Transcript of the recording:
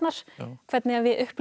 hvernig við upplifum